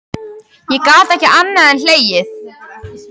Ég gat ekki annað en hlegið.